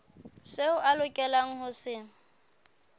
seo a lokelang ho se